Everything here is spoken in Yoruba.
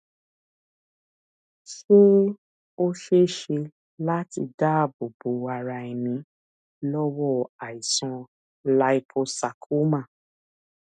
ṣé ó ṣeé ṣe láti dáàbò bo ara ẹni lọwọ aisan líposarcoma